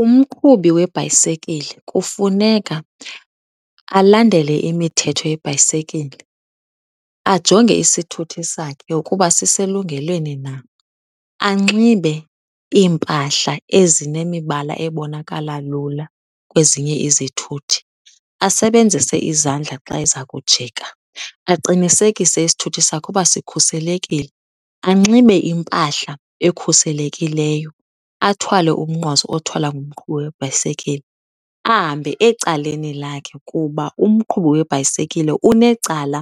Umqhubi webhayisekile kufuneka alandele imithetho yebhayisekile, ajonge isithuthi sakhe ukuba siselungelweni na, anxibe iimpahla ezinemibala ebonakala lula kwezinye izithuthi, asebenzise izandla xa eza kujika. Aqinisekise isithuthi sakhe ukuba sikhuselekile, anxibe impahla ekhuselekileyo, athwale umnqwazi othwalwa ngumqhubi webhayisekile. Ahambe ecaleni lakhe kuba umqhubi webhayisekile unecala